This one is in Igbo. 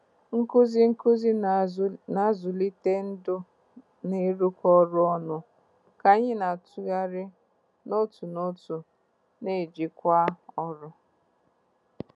Nkuzi nkuzi na-azụlite ndu na ịrụkọ ọrụ ọnụ ka anyị na-atụgharị n'otu n'otu na-ejikwa ọrụ.